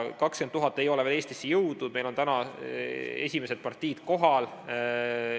20 000 ei ole veel Eestisse jõudnud, meil on esimesed partiid kohal.